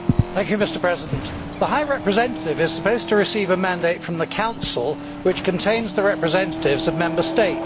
Mr President, the High Representative is supposed to receive a mandate from the Council which contains the representatives of Member States.